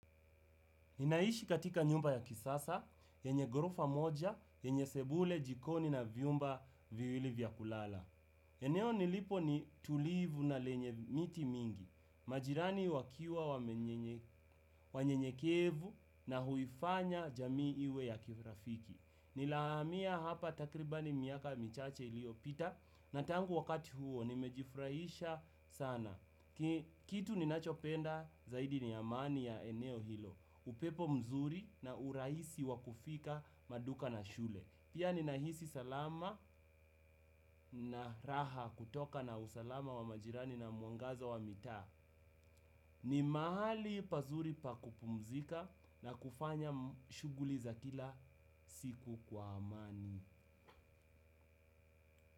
Ninaishi katika nyumba ya kisasa, yenye gorofa moja, yenye sebule, jikoni na vyumba viwili vya kulala. Eneo nilipo ni tulivu na lenye miti mingi, majirani wakiwa wanyenyekevu na huifanya jamii iwe ya kirafiki. Nilahamia hapa takribani miaka michache iliopita, na tangu wakati huo nimejifurahisha sana. Kitu ninachopenda zaidi ni amani ya eneo hilo. Upepo mzuri na uraisi wa kufika maduka na shule. Pia ninahisi salama na raha kutoka na usalama wa majirani na mwangazo wa mitaa. Ni mahali pazuri pa kupumzika na kufanya shuguli za kila siku kwa amani.